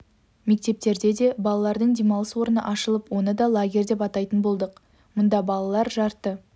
мектептерде де балалардың демалыс орны ашылып оны да лагерь деп атайтын болдық мұнда балалар жарты